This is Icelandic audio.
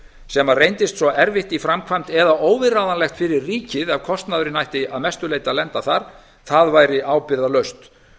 sem reyndist svo erfitt í framkvæmd eða óviðráðanlegt fyrir ríkið að kostnaðurinn ætti að mestu leyti að lenda þar væri ábyrgðarlaust